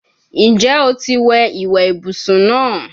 Njẹ o ti wẹ iwe ibusun naa?